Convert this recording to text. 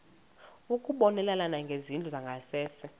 ukubonelela ngezindlu zangasese